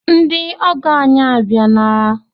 Ndị ọgọ ànyị a bịala?